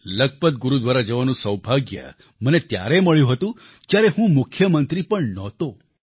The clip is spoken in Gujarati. લખપત ગુરુદ્વારા જવાનું સૌભાગ્ય મને ત્યારે મળ્યું હતું જ્યારે હું મુખ્યમંત્રી પણ નહોતો